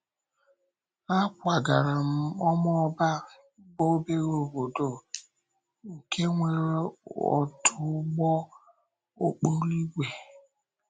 Ákwágàrà m Ọmọ́bà, bụ́ obere obodo nke nwere ọdụ ụgbọ okporo ígwè.